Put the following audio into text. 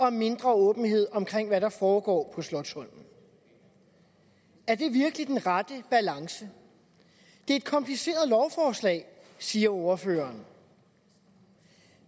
er mindre åbenhed omkring hvad der foregår på slotsholmen er det virkelig den rette balance det er et kompliceret lovforslag siger ordføreren